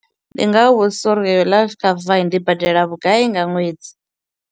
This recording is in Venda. Ndi nga vha vhudzisa uri iyo life cover ndi badela vhugai nga ṅwedzi.